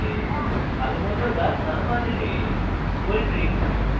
ভালোমত দাঁত না মাজলে